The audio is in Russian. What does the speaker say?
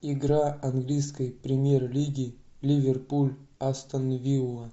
игра английской премьер лиги ливерпуль астон вилла